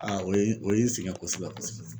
o ye o ye n sɛgɛn kosɛbɛ kosɛbɛ